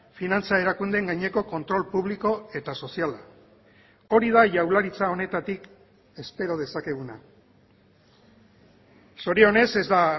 finantza erakundeen gaineko kontrol publiko eta soziala hori da jaurlaritza honetatik espero dezakeguna zorionez ez da